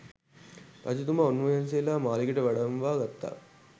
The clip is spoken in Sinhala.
රජතුමා උන්වහන්සේලාව මාළිගයට වඩම්මවා ගත්තා.